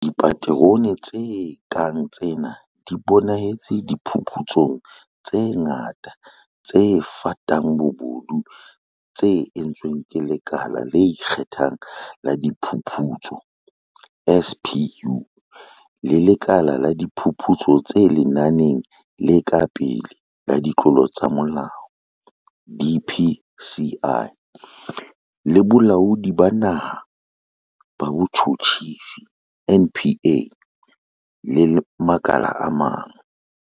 Dipaterone tse kang tsena di bonahetse diphuputsong tse ngata tse fatang bobodu tse entsweng ke Lekala le Ikge thang la Diphuputso, SPU, le Lekala la Diphuputso tse Lenaneng le Ka Pele la Ditlolo tsa Molao, DPCI, le Bolaodi ba Naha ba Botjhutjhisi, NPA, le makala a mang.